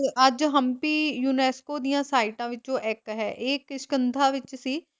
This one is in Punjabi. ਅੱਜ ਹਮਪੀ UNESCO ਦੀਆਂ ਸਾਈਟਾਂ ਵਿੱਚੋਂ ਇੱਕ ਹੈ, ਇਹ ਕਿਸ਼ਕਿੰਦਾ ਵਿੱਚ ਸੀ।